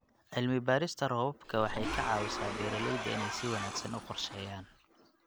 Cilmi-baarista roobabka waxay ka caawisaa beeralayda inay si wanaagsan u qorsheeyaan.